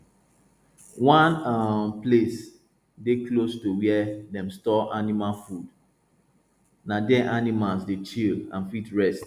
one um place dey close to where dem store animal food na there animals dey chill and fit rest